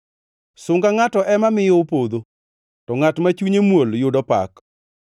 Sunga ngʼato ema miyo opodho, to ngʼat ma chunye muol yudo pak.